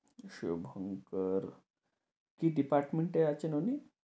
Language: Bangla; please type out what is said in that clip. শুভঙ্কর, কী department এ আছেন উনি?